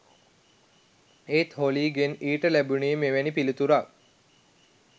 එහෙත් හොලීගෙන් ඊට ලැබුනේ මෙවැනි පිළිතුරක්